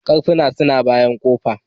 Karfuna su na bayan kofa.